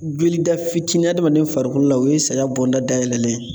Joli da fitinin adamaden farikolo la , o ye saya bɔnda dayɛlɛ ye